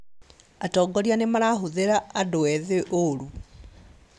Atongoria nĩmarahũthĩra andũ ethĩ ũrũ